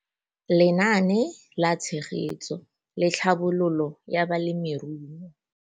Lenaane la Tshegetso le Tlhabololo ya Balemirui.